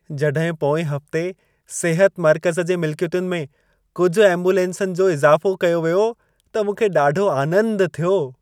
जॾहिं पोएं हफ़्ते सिहत मर्कज़ जे मिलिकियतुनि में कुझु एम्बुलेंसनि जो इज़ाफ़ो कयो वियो, त मूंखे ॾाढो आनंद थियो।